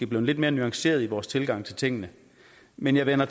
blevet lidt mere nuancerede i vores tilgang til tingene men jeg vender